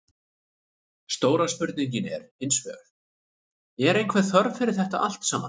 Stóra spurningin er hinsvegar, er einhver þörf fyrir þetta allt saman?